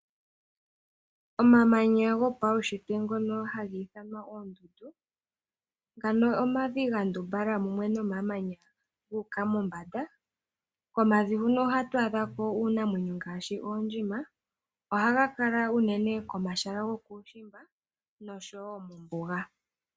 Omamanya gopaunshitwe ngono haga ithanwa oondundu ano omavi ga ndumbala ge li mumwe nomamanya ga uka mombanda. Komavi huno ohatu adhako iinamwenyo ngaashi oondjima. Ohaga kala. unene komahala gokuushimba osho wo mombuga.